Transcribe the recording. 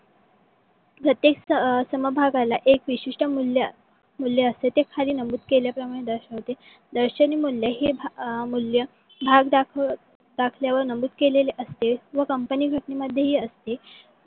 प्रत्येक सम भागाला एक विशिष्ट मूल्य असते ते खली नमूद केल्या प्रमाणे दर्शवते. दर्शनी मूल्य हे अं भाग दाखवल्यावर नमूद केले असते. व company घटणे मध्येही असते.